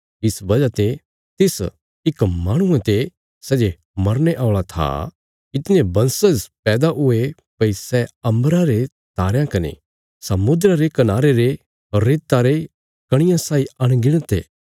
इस वजह ते तिस इक माहणुये ते सै जे मरने औल़ा था इतणे बंशज पैदा हुये भई सै अम्बरा रे तारयां कने समुद्रा रे कनारे रे रेता रियां कणियां साई अनगिणत ये